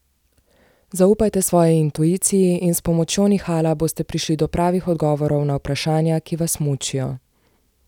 Zaupajte svoji intuiciji in s pomočjo nihala boste prišli do pravih odgovorov na vprašanja, ki vas mučijo.